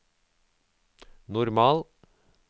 normal